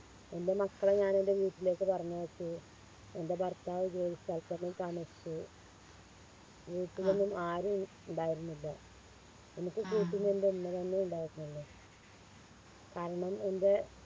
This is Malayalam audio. എൻറെ മക്കളെ ഞാനെൻറെ വീട്ടിലേക്ക് പറഞ്ഞയച്ചു എൻറെ ഭർത്താവ് ജോലി സ്ഥലത്തന്നെ താമസിച്ചു വീട്ടിലൊന്നും ആരും ഇണ്ടായിരുന്നില്ല എനിക്ക് കൂട്ടിന് എൻറെ ഉമ്മ തന്നെയേ ഉണ്ടായിരുന്നുള്ളു കാരണം എൻറെ